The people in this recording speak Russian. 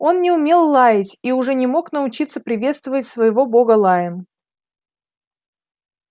он не умел лаять и уже не мог научиться приветствовать своего бога лаем